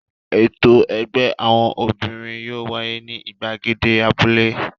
Ètò ẹgbẹ́ àwọn obìnrin yóò wáyé ní ìgbàgede abúlé.